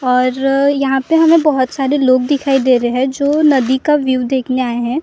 और यहाँ पे हमें बहुत सारे लोग दिखाई दे रहे हैं जो नदी का व्यू देखने आए हैं नदी के ठीक।